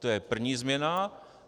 To je první změna.